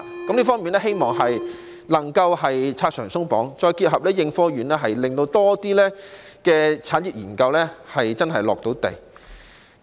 在這方面，希望能夠"拆牆鬆綁"，再配合應科院，令更多產業研究能夠落地。